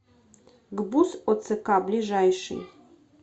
гбуз оцк ближайший